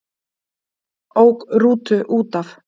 Ók rútu útaf